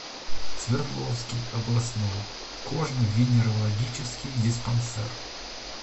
свердловский областной кожно венерологический диспансер